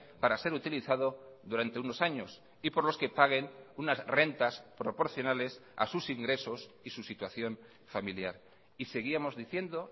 para ser utilizado durante unos años y por los que paguen unas rentas proporcionales a sus ingresos y su situación familiar y seguíamos diciendo